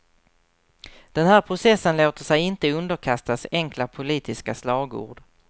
Den här processen låter sig inte underkastas enkla politiska slagord.